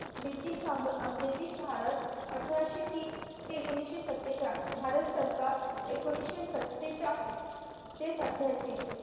british सा अं british Bharat अठराशे तीन ते एकोणीशे सातेचाळ भारत सरकार एकोणीशे सातेचाळ ते सत्याऐंशी